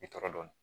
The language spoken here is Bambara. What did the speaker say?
I tɔɔrɔ dɔɔnin